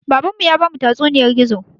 Baban mu ya bamu tatsuniyar gizo